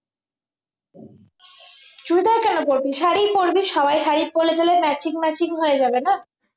চুড়িদার কেন পরবি শাড়ি পরবি সবাই শাড়ি পরলে একটা matching matching হয়ে যাবে না